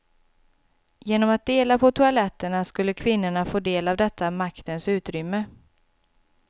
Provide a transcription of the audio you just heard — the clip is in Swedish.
Genom att dela på toaletterna skulle kvinnorna få del av detta maktens utrymme.